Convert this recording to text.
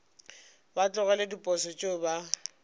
ba tlogele diposo tšeo ba